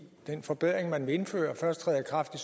den forbedring man vil indføre først træder i kraft i